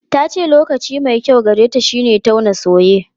Ta ce lokaci mai kyau gareta shine tauna soye.